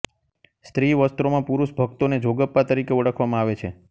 સ્ત્રી વસ્ત્રોમાં પુરૂષ ભક્તોને જોગપ્પા તરીકે ઓળખવામાં આવે છે